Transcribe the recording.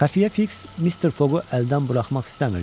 Xəfiyyə Fiks Mister Foqu əldən buraxmaq istəmirdi.